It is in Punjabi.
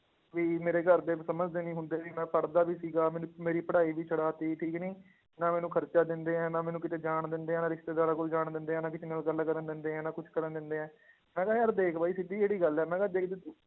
ਵੀ ਮੇਰੇ ਘਰਦੇ ਸਮਝਦੇ ਨੀ ਹੁੰਦੇ ਸੀ ਮੈਂ ਪੜ੍ਹਦਾ ਵੀ ਸੀਗਾ, ਮੈਨੂੰ ਮੇਰੀ ਪੜ੍ਹਾਈ ਵੀ ਛਡਾ ਦਿੱਤੀ ਠੀਕ ਨੀ, ਨਾ ਮੈਨੂੰ ਖ਼ਰਚਾ ਦਿੰਦੇ ਹੈ, ਨਾ ਮੈਨੂੰ ਕਿਤੇ ਜਾਣ ਦਿੰਦੇ ਹੈ, ਨਾ ਰਿਸਤੇਦਾਰਾਂ ਕੋਲ ਜਾਣ ਦਿੰਦੇ ਹੈ, ਨਾ ਕਿਸੇ ਨਾਲ ਗੱਲ ਕਰਨ ਦਿੰਦੇ ਹੈ, ਨਾ ਕੁਛ ਕਰਨ ਦਿੰਦੇ ਹੈ, ਮੈਂ ਕਿਹਾ ਯਾਰ ਦੇਖ ਬਾਈ ਸਿੱਧੀ ਜਿਹੜੀ ਗੱਲ ਹੈ ਮੈਂ ਕਿਹਾ ਦੇਖ ਜੇ ਤੂੰ